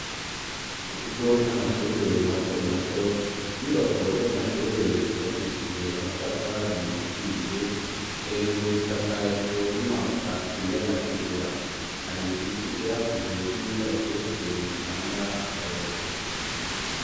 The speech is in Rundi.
Mu kigo c'amashure mato mato, inyubako z'amashure zubakishije amatafari ahiye hejuru zisakajwe n'amabati y'amatigura hari ibiti byakuze by'imikaratuse bitanga akayaga.